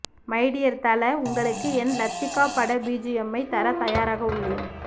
my dear Thala உங்களுக்கு என் லத்திகா பட பிஜிஎம்மை தர தயாராக உள்ளேன்